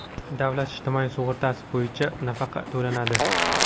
davlat ijtimoiy sug‘urtasi bo‘yicha nafaqa to‘lanadi.